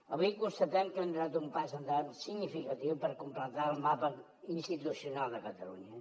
avui constatem que hem donat un pas endavant significatiu per completar el mapa institucional de catalunya